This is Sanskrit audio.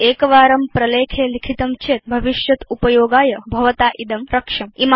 एकवारं प्रलेखे लिखितं चेत् भविष्यदुपयोगाय भवता इदं रक्ष्यम्